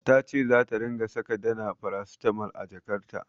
Ta ce zata ringa saka Dana farasitamol a jakarta.